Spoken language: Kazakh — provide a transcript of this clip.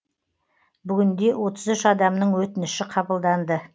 бүгінде отыз үш адамның өтініші қабылданды